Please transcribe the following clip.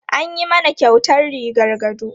An yi mana kyautar rigar gado.